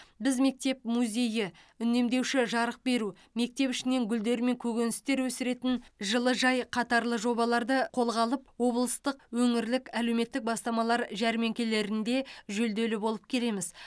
біз мектеп музейі үнемдеуші жарық беру мектеп ішінен гүлдер мен көкөністер өсіретін жылыжай қатарлы жобаларды қолға алып облыстық өңірлік әлеуметтік бастамалар жәрмеңкелерінде жүлделі болып келеміз